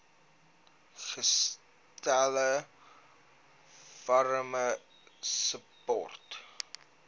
gestel farmer support